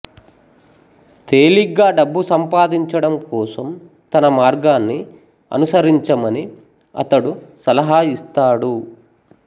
తేలిగ్గా డబ్బు సంపాదించడం కోసం తన మార్గాన్ని అనుసరించమని అతడు సలహా ఇస్తాడు